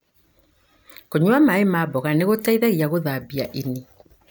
Kũnyua maĩ ma mboga nĩgũteithagia gũthambia ini.